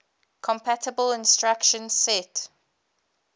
compatible instruction set